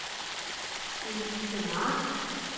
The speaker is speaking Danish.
Elise Mark